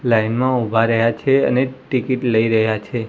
Line માં ઉભા રહ્યા છે અને ટિકિટ લય રહ્યા છે.